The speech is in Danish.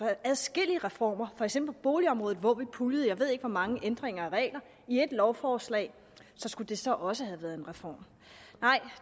adskillige reformer for eksempel på boligområdet hvor vi puljede jeg ved ikke hvor mange ændringer af regler i ét lovforslag så skulle det så også have været en reform nej